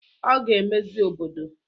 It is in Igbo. Ọ ga-emezi obodo